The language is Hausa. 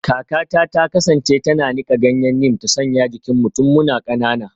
Kakata ta kasance tana nika ganyen neem ta sanya jikinmu tun muna kanana